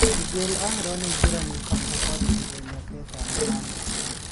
Miguel Almiron engira Newscastle kwandĩkithwa mĩaka ĩtano na nuthu